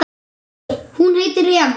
Hún heitir Eva.